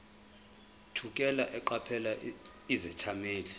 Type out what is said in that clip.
thukela eqaphela izethameli